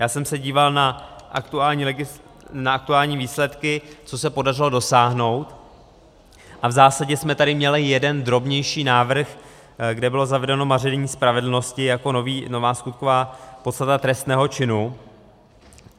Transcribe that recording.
Já jsem se díval na aktuální výsledky, co se podařilo dosáhnout, a v zásadě jsme tady měli jeden drobnější návrh, kde bylo zavedeno maření spravedlnosti jako nová skutková podstata trestného činu.